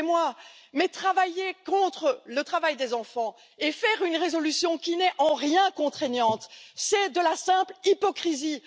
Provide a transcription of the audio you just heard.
Excusez moi, mais travailler contre le travail des enfants et faire une résolution qui n'est en rien contraignante, c'est de la simple hypocrisie!